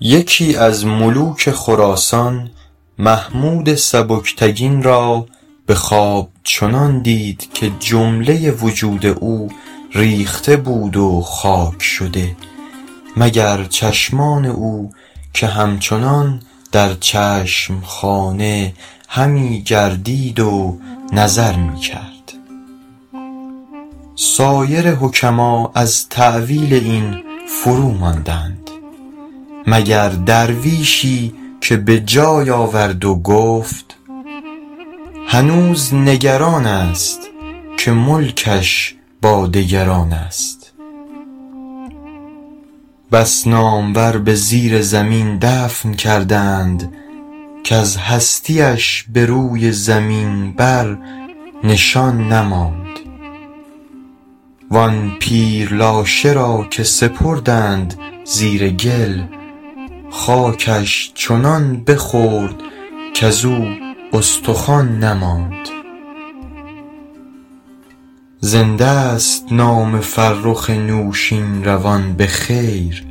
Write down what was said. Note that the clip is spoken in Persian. یکی از ملوک خراسان محمود سبکتگین را به خواب چنان دید که جمله وجود او ریخته بود و خاک شده مگر چشمان او که همچنان در چشم خانه همی گردید و نظر می کرد سایر حکما از تأویل این فروماندند مگر درویشی که به جای آورد و گفت هنوز نگران است که ملکش با دگران است بس نامور به زیر زمین دفن کرده اند کز هستی اش به روی زمین بر نشان نماند وآن پیر لاشه را که سپردند زیر گل خاکش چنان بخورد کزو استخوان نماند زنده ست نام فرخ نوشین روان به خیر